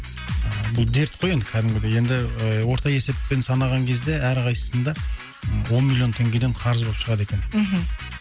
бұл дерт қой енді кәдімгідей енді і орта есеппен санаған кезде әрқайсысында ы он миллион теңгеден қарыз болып шығады екен мхм